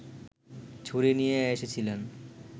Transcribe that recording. ছুরি নিয়ে এসেছিলেন